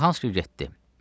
Suraxanski getdi.